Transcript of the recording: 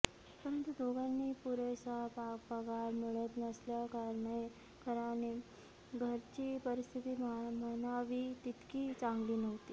परंतु दोघांनाही पुरेसा पगार मिळत नसल्याकारणाने घरची परिस्थिती म्हणावी तितकी चांगली नव्हती